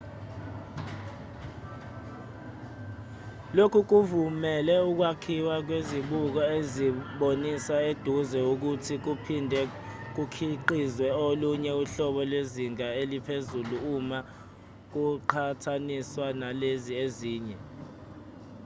lokhu kuvumele ukwakhiwa kwezibuko ezibonisa eduze ukuthi kuphinde kukhiqizwe olunye uhlobo lwezinga eliphezulu uma kuqhathaniswa nalezi ezinye